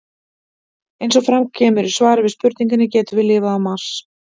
Eins og fram kemur í svari við spurningunni Getum við lifað á Mars?